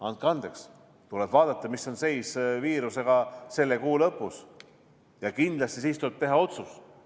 Andke andeks, tuleb vaadata, mis seis on viirusega selle kuu lõpus, ja siis kindlasti tuleb teha otsus.